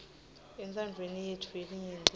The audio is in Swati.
entsandvweni yetfu yelinyenti